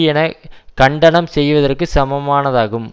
என கண்டனம் செய்வதற்கு சமமானதாகும்